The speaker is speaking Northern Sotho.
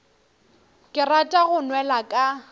ke rata go nwela ka